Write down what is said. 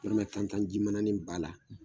Dɔramɛ tan tan ji mana nin b'a la